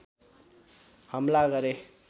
हमला गरे